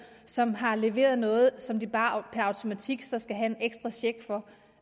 som har leveret noget som de bare per automatik så skal have en ekstra check for